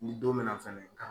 Ni don mina fɛnɛ